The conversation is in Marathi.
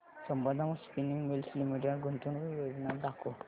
संबंधम स्पिनिंग मिल्स लिमिटेड गुंतवणूक योजना दाखव